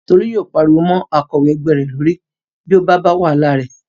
Tolú yóò pariwo mọ́ akọ̀wé ẹgbẹ́ rẹ̀ lórí bí ó bá wàhálà rẹ̀